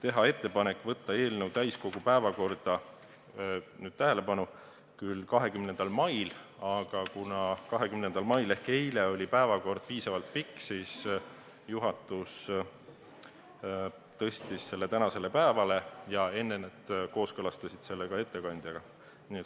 Oli ettepanek võtta eelnõu täiskogu 20. mai istungi päevakorda, aga kuna 20. mail ehk eile oli päevakord väga pikk, siis juhatus tõstis selle tänasele päevale, olles selle enne ettekandjaga kooskõlastanud.